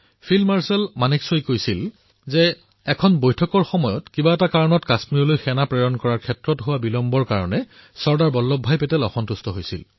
field marshal মানেকশ্বই কৈছিল যে কিদৰে এক বৈঠকৰ সময়চোৱাত কাশ্মীৰলৈ সেনা প্ৰেৰণত বিলম্ব কৰাত চৰ্দাৰ বল্লভ ভাই পেটেল ক্ৰোধান্বিত হৈ উঠিছিল